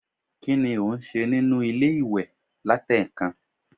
kini o n se ninu ile-iwe latekan?